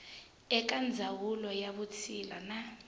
eka ndzawulo ya vutshila na